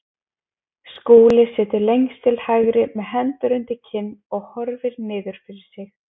Skúli situr lengst til hægri með hendur undir kinn og horfir niður fyrir sig.